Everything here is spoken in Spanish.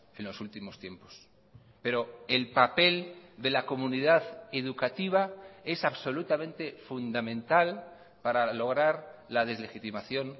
en los últimos tiempos pero el papel de la comunidad educativa es absolutamente fundamental para lograr la deslegitimación